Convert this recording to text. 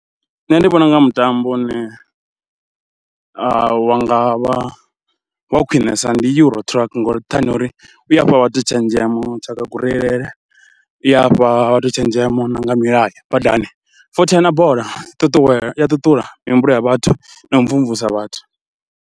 Nṋe ndi vhona u nga mutambo une wa nga vha wa khwinesa ndi uri Euro Truck ngori nṱhani ha uri u a fha vhathu tshenzhemo tsha nga kureilele, i a fha vhathu tshenzhemo na nga milayo badani, futhi na bola ṱuṱuwedza ṱuṱula mihumbulo ya vhathu na u mvumvusa vhathu.